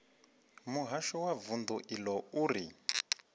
muhasho wa vundu iḽo uri